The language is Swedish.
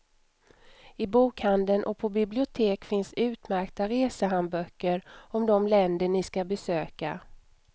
I bokhandeln och på bibliotek finns utmärkta resehandböcker om de länder ni skall besöka.